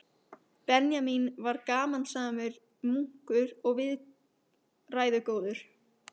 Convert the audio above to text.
Benjamín var gamansamur munkur og viðræðugóður.